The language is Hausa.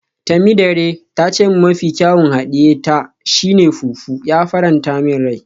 Temidire ta ce min mafi kyawun hadiye ta shi ne fufu, ya faranta min rai.